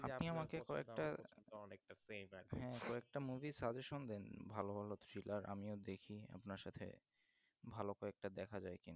আপনি কয়েকটা movie suggestion দেন ভালো ভালো Thriller আমিও দেখি আপনার সাথে ভালো কয়েকটা দেখা যায়